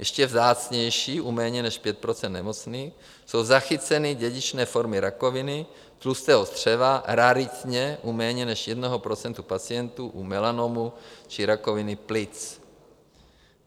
Ještě vzácnější, u méně než 5 % nemocných, jsou zachyceny dědičné formy rakoviny, tlustého střeva, raritně u méně než 1 % pacientů u melanomu či rakoviny plic.